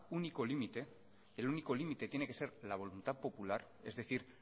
único límite el único límite tiene que ser la voluntad popular es decir